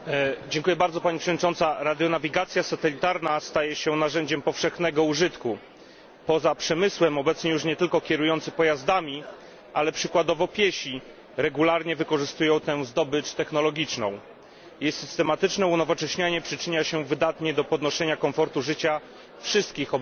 Pani Przewodnicząca! Radionawigacja satelitarna staje się narzędziem powszechnego użytku. Poza przemysłem obecnie już nie tylko kierujący pojazdami, ale przykładowo piesi regularnie wykorzystują tę zdobycz technologiczną. Jej systematyczne unowocześnianie przyczynia się wydatnie do podnoszenia komfortu życia wszystkich obywateli.